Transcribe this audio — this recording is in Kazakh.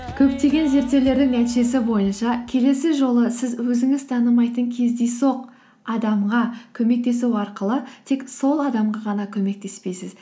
көптеген зерттеулердің нәтижесі бойынша келесі жолы сіз өзіңіз танымайтын кездейсоқ адамға көмектесу арқылы тек сол адамға ғана көмектеспейсіз